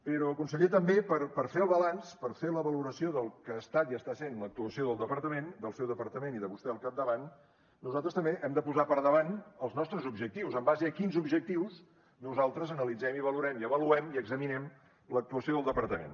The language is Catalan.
però conseller també per fer el balanç per fer la valoració del que ha estat i està sent l’actuació del departament del seu departament i de vostè al capdavant nosaltres també hem de posar per davant els nostres objectius en base a quins objectius nosaltres analitzem i valorem i avaluem i examinem l’actuació del departament